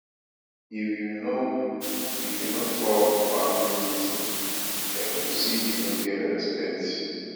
if you no if you no come family meeting dem go say you no get respect